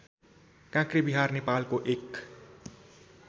काँक्रेविहार नेपालको एक